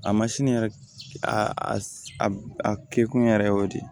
A masini yɛrɛ a a kɛ kun yɛrɛ y'o de ye